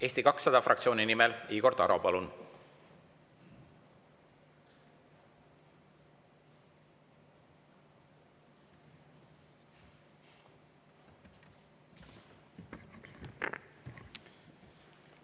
Eesti 200 fraktsiooni nimel Igor Taro, palun!